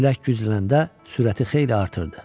Külək güclənəndə sürəti xeyli artırdı.